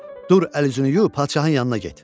Dur əl-üzünü yuyub padşahın yanına get.